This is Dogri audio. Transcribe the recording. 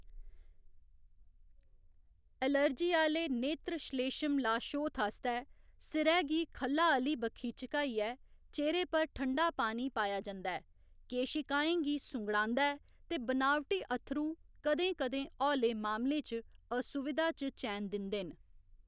एलर्जी आह्‌‌‌ले नेत्रश्लेश्म लाशोथ आस्तै, सिरै गी ख'ल्लाआह्‌ली बक्खी झुकाइयै चेह्‌रे उप्पर ठंडा पानी पाएया जंदा ऐ, केशिकाएं गी सुंगड़ादा ऐ, ते बनावटी अत्थरू कदें कदें हौले मामलें च असुविधा च चैन दिंदे न।